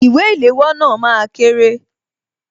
Ìwé ìléwọ́ náà máa kéré